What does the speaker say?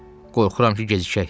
Qorxuram ki, gecikək.